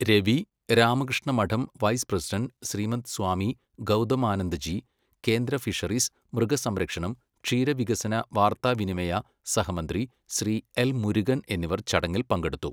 Ravi, Ramakrishna Math vice president Shrimad Swami Gautamanandaji, കേന്ദ്ര fisheries, മൃഗസംരക്ഷണം, ക്ഷീരവികസന വാർത്താവിനിമയ സഹമന്ത്രി ശ്രീ എൽ. മുരുകൻ എന്നിവർ ചടങ്ങിൽ പങ്കെടുത്തു.